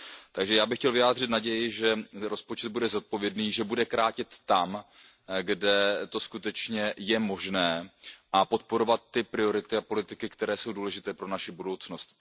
Takže já bych chtěl vyjádřit naději, že rozpočet bude zodpovědný, že bude krátit tam, kde to skutečně je možné, a podporovat ty priority a politiky, které jsou důležité pro naši budoucnost.